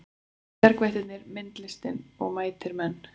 Bjargvættirnir myndlistin og mætir menn